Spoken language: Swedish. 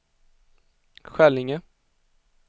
Skällinge